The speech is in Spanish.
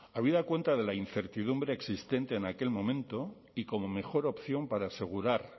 habida cuenta de la incertidumbre existente en aquel momento y como mejor opción para asegurar